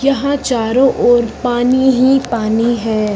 यहां चारों ओर पानी ही पानी हैं।